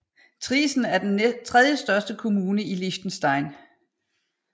Triesen er den tredjestørste kommune i Liechtenstein